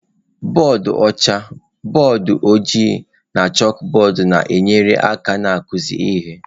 Bọdụ ọcha, bọọdụ ojii na chalkbọọdụ na-enyere aka n'ịkụzi ihe.